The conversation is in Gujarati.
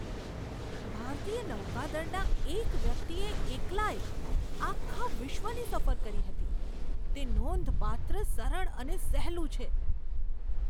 ભારતીય નૌકાદળના એક વ્યક્તિએ એકલાએ આખા વિશ્વની સફર કરી હતી. તે નોંધપાત્ર, સરળ અને સહેલું છે!